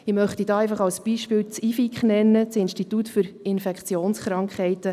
Ich möchte als Beispiel das IFIK nennen, das Institut für Infektionskrankheiten.